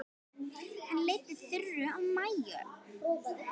Hann leiddi Þuru og Maju.